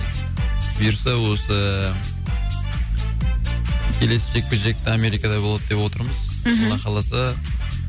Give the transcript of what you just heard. бұйырса осы келесі жекпе жек америкада болады деп отырмыз мхм алла қаласа